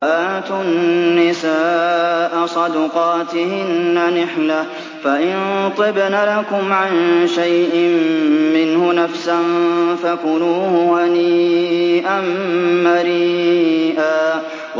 وَآتُوا النِّسَاءَ صَدُقَاتِهِنَّ نِحْلَةً ۚ فَإِن طِبْنَ لَكُمْ عَن شَيْءٍ مِّنْهُ نَفْسًا فَكُلُوهُ هَنِيئًا مَّرِيئًا